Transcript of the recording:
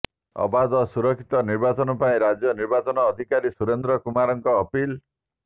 ଅବାଧ ଓ ସୁରକ୍ଷିତ ନିର୍ବାଚନ ପାଇଁ ରାଜ୍ୟ ନିର୍ବାଚନ ଅଧିକାରୀ ସୁରେନ୍ଦ୍ର କୁମାରଙ୍କ ଅପିଲ୍